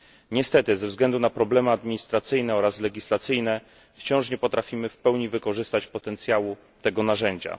Niestety, ze względu na problemy administracyjne oraz legislacyjne, wciąż nie potrafimy w pełni wykorzystać potencjału tego narzędzia.